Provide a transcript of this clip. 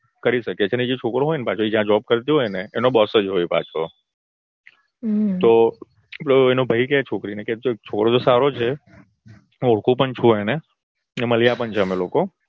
કરી શકે છે અને જે છોકરો હોયને પાછો એ job કરતી હોય ને એનો boss જ હોય પાછો. હા તો એનો ભઈ કે છોકરી ને છોકરો તો સારો છે હું ઓરખુ પણ છું એને મલ્યા પણ છે અમે લોકો તું